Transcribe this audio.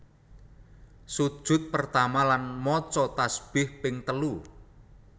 Sujud pertama lan maca tasbih ping telu